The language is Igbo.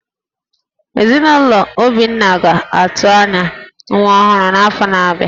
Ezinụlọ Obinna ga-atụ anya nwa ọhụrụ n’afọ na-abịa